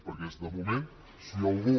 perquè de moment si algú